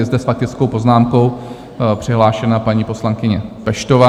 Je zde s faktickou poznámkou přihlášena paní poslankyně Peštová.